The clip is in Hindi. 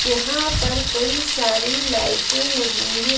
यहां पर कई सारी लाइटें लगी हैं।